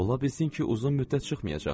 Ola bilsin ki, uzun müddət çıxmayacaq.